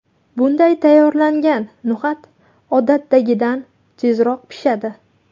Bunday tayyorlangan no‘xat odatdagidan tezroq pishadi.